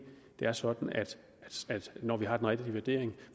er sådan at skat når vi har den rigtige vurdering